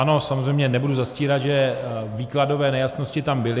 Ano, samozřejmě nebudu zastírat, že výkladové nejasnosti tam byly.